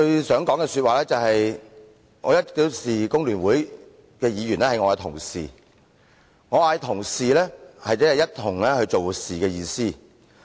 首先，我一向視工聯會的議員為同事，我所說的同事即一起做事的意思。